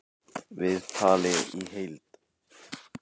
Viðtalið í heild